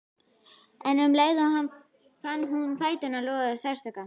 En um leið fann hún að fæturnir loguðu af sársauka.